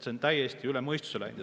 See on täiesti üle mõistuse läinud.